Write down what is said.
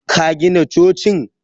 Ka gina cocin?